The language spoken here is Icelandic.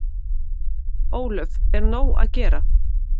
Ólöf: Er nóg að gera?